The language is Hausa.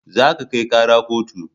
Za ka kai kara kotu